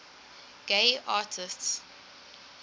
gay artists